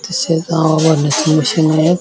तसेच अ वढण्याची मशीन आहे.